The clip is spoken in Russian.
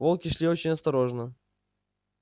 волки шли очень осторожно